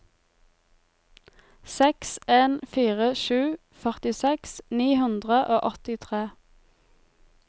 seks en fire sju førtiseks ni hundre og åttitre